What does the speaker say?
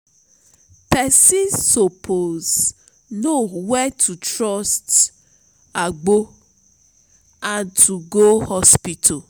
pesin suppose know wen to trust agbo and to go hospital.